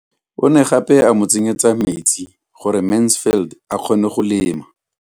O ne gape a mo tsenyetsa metsi gore Mansfield a kgone go lema.